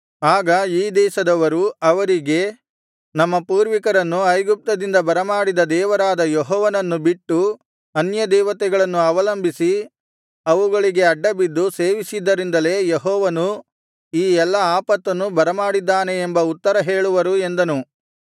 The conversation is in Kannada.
ಆಗ ಈ ದೇಶದವರು ಅವರಿಗೆ ನಮ್ಮ ಪೂರ್ವಿಕರನ್ನು ಐಗುಪ್ತದಿಂದ ಬರಮಾಡಿದ ದೇವರಾದ ಯೆಹೋವನನ್ನು ಬಿಟ್ಟು ಅನ್ಯದೇವತೆಗಳನ್ನು ಅವಲಂಬಿಸಿ ಅವುಗಳಿಗೆ ಅಡ್ಡಬಿದ್ದು ಸೇವಿಸಿದ್ದರಿಂದಲೇ ಯೆಹೋವನು ಈ ಎಲ್ಲಾ ಆಪತ್ತನ್ನು ಬರಮಾಡಿದ್ದಾನೆ ಎಂಬ ಉತ್ತರ ಹೇಳುವರು ಎಂದನು